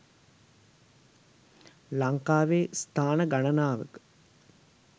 ලංකාවේ ස්ථාන ගණනාවක